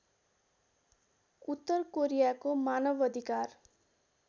उत्तर कोरियाको मानवअधिकार